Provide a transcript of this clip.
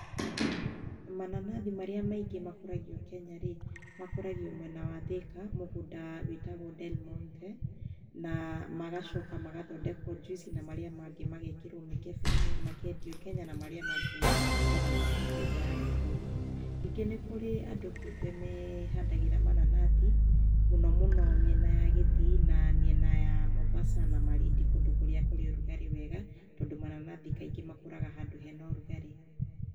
Mananathi marĩa maingĩ makũragio Kenya rĩ, makũragio mwena wa Thika mũgũnda wĩtagwo Delmonte na magacoka magathondekwo juici na marĩa mangĩ magekĩrwo mĩkebeinĩ makendio Kenya na marĩa mangĩ ona makendio nja ya bũrũri, ningĩ nĩkũrĩ andũ kĩũmbe mehandagĩra manananathi mũnomũno mĩena ya gĩthii na mĩena ya Mombasa na Malindi kũndũ kũrĩa kũrĩ ũrugarĩ wega tondũ mananathi kaigĩ makũraga handũ hena ũrugarĩ.